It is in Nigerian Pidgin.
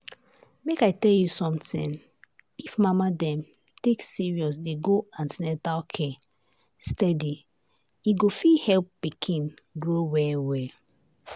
make i tell you something if mama dem take serious dey go an ten atal care steady e go fit help pikin grow well well.